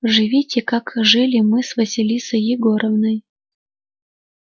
живите как жили мы с василисой егоровной